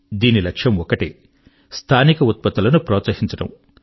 దీని లక్ష్యం ఒక్కటే స్థానిక ఉత్పత్తుల ను ప్రోత్సహించడం